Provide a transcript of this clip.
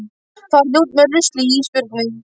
Farðu út með ruslið Ísbjörg mín!